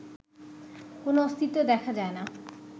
কোনো অস্তিত্ব দেখা যায় না